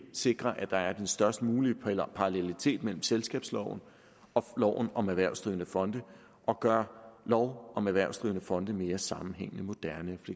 sikrer at der er den størst mulige parallelitet mellem selskabsloven og loven om erhvervsdrivende fonde og gør lov om erhvervsdrivende fonde mere sammenhængende moderne og